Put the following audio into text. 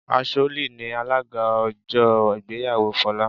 Asholly ni alága ọjọ́ ìgbéyàwó Folá